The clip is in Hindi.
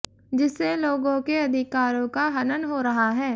जिससे लोगों के अधिकारों का हनन हो रहा है